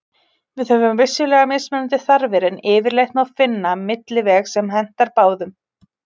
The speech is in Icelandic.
Við höfum vissulega mismunandi þarfir en yfirleitt má finna milliveg sem hentar báðum.